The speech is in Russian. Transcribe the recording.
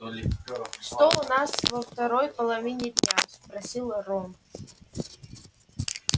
что у нас во второй половине дня спросил рон